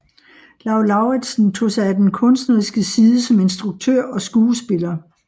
Lau Lauritzen tog sig af den kunstneriske side som instruktør og skuespiller